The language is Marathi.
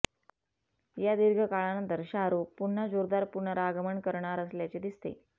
या दीर्घ काळानंतर शाहरुख पुन्हा जोरदार पुनरागमन करणार असल्याचे दिसते